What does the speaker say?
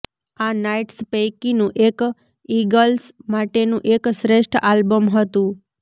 આ નાઇટ્સ પૈકીનું એક ઇગલ્સ માટેનું એક શ્રેષ્ઠ આલ્બમ હતું